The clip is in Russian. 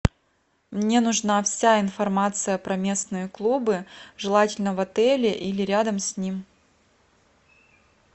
мне нужна вся информация про местные клубы желательно в отеле или рядом с ним